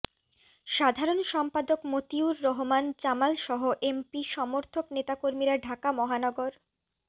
সাধারণ সম্পাদক মতিউর রহমান জামালসহ এমপি সমর্থক নেতাকর্মীরা ঢাকা মহানগর